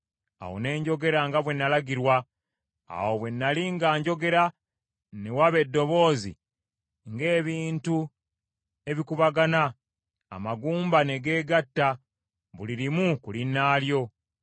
Awo ne njogera nga bwe nalagirwa. Awo bwe nnali nga njogera, ne waba eddoboozi, ng’ebintu ebikubagana, amagumba ne geegatta, buli limu ku linnaalyo.